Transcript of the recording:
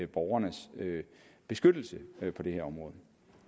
borgernes beskyttelse på det her område